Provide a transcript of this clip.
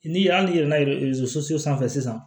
Ni hali n'i yɛlɛla erezo so sanfɛ sisan